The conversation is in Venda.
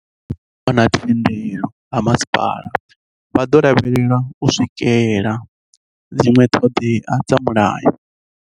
Musi vho wana thendelo ha masipala, vha ḓo lavhalelwa u swikela dziṅwe ṱhoḓea dza mulayo.